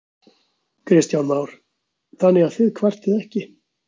Kristján Már: Þannig að þið kvartið ekki?